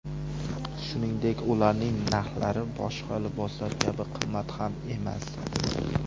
Shuningdek, ularning narxlari boshqa liboslar kabi qimmat ham emas.